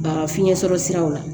Baga fiɲɛsɔrɔ siraw la